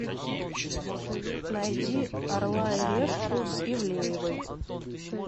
найди орла и решку с ивлеевой